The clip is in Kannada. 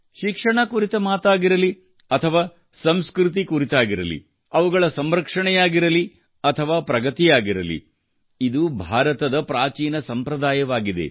ಶಿಕ್ಷಣ ಕುರಿತ ಮಾತಾಗಿರಲಿ ಅಥವಾ ಸಂಸ್ಕೃತಿ ಕುರಿತಾಗಿರಲಿ ಅವುಗಳ ಸಂರಕ್ಷಣೆಯಾಗಿರಲಿ ಅಥವಾ ಪ್ರಗತಿಯಾಗಿರಲಿ ಇದು ಭಾರತದ ಪ್ರಾಚೀನ ಸಂಪ್ರದಾಯವಾಗಿದೆ